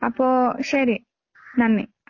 അപ്പോ ശരി നന്ദി